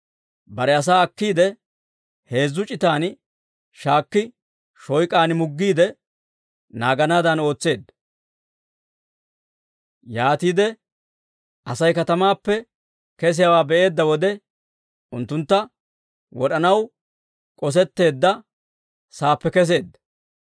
bare asaa akkiide, heezzu c'itan shaakki, shooyk'aan muggiide naaganaadan ootseedda. Yaatiide Asay katamaappe kesiyaawaa be'eedda wode, unttuntta wod'anaw k'osetteedda saappe kesseedda.